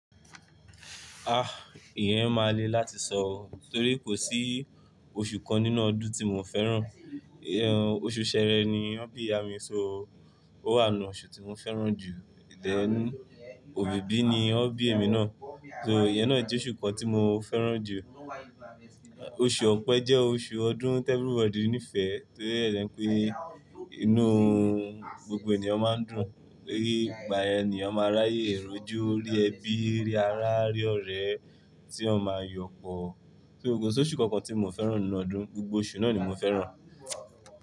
Ah! Ìyẹn máa le láti sọ, torí kò sí oṣù kan nínú ọdún tí mo fẹ́ràn. Ìyẹn oṣù Sẹẹrẹ ni won bi iya mi, so ó wà nù oṣù tí mo fẹ́ràn jù. Dẹ́n òbíbí ni won bí èmi náà, so ìyẹn náà jẹ́ oṣù kan tí mo fẹ́ràn jù. Oṣù ọ̀pẹ jẹ́ oṣù ọdún tí everybody nífẹ̀ẹ́ torí rẹ̀ pé inú ohun gbogbo ènìyàn máa ń dùn, pé ìgbà èèyàn máa ń ráyè èròjú, ó rí ẹbí rẹ̀, á rí ọ̀rẹ́ rẹ̀ tí wọn máa yọ̀pọ̀. So ko si oṣù kankan tí mio fẹ́ràn nínú ọdún, gbogbo oṣù náà ni mo fẹ́ràn.